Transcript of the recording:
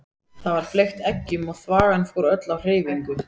Þá var fleygt eggjum og þvagan fór öll á hreyfingu.